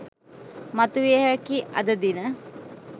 මතුවිය හැකි අද දින